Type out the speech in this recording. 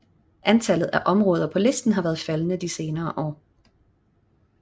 Antallet af områder på listen har været faldende de senere år